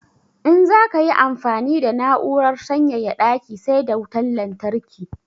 In za ka yi amfani da na'urar sanyaya daki sai da wutan lantarki.